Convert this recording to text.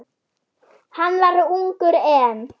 Hann var ungur enn.